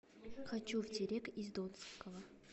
хочу в терек из донского